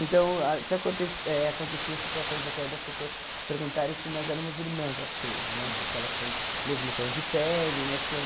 Então, ah que aconte eh aconteciam situações até das pessoas perguntarem se nós éramos irmãs, as três né, porque elas têm o mesmo tom de pele né tinham.